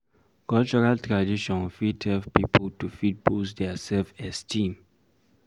Cultural tradition fit help pipo to fit boost their self esteem